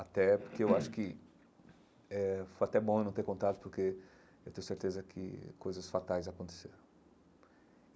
Até porque eu acho que eh foi até bom eu não ter contato porque eu tenho certeza que coisas fatais aconteceram.